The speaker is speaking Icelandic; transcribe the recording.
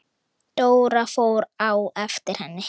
Dóra fór á eftir henni.